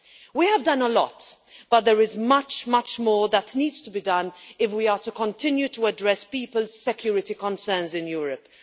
We have done a lot, but there is much, much more that needs to be done if we are to continue to address people's security concerns in Europe.